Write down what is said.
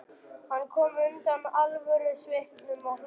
Hann kom undan alvörusvipnum og hló.